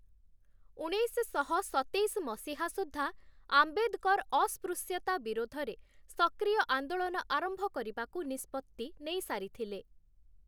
ଉଣେଇଶଶହ ସତେଇଶ ମସିହା ସୁଦ୍ଧା ଆମ୍ବେଦକର ଅସ୍ପୃଶ୍ୟତା ବିରୋଧରେ ସକ୍ରିୟ ଆନ୍ଦୋଳନ ଆରମ୍ଭ କରିବାକୁ ନିଷ୍ପତ୍ତି ନେଇସାରିଥିଲେ ।